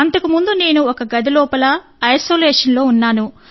అంతకు ముందు నేను ఒక గది లోపల ఐసోలేషన్ లో ఉన్నాను